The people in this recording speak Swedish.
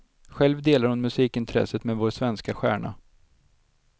Själv delar hon musikintresset med vår svenska stjärna.